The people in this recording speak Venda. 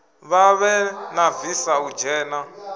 vhavhe na visa u dzhena